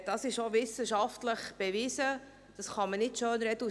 Dies ist wissenschaftlich bewiesen, man kann es nicht schönreden.